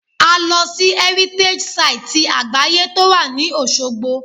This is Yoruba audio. A lọ sí Heritage site ti àgbáyé to wà ní Osogbo